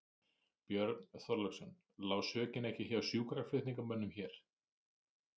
Björn Þorláksson: Lá sökin ekki hjá sjúkraflutningamönnum hér?